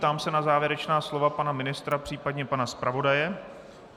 Ptám se na závěrečná slova pana ministra, případně pana zpravodaje.